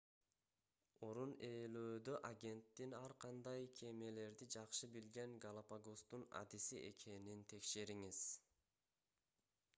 орун ээлөөдө агенттин ар кандай кемелерди жакшы билген галапагостун адиси экенин текшериңиз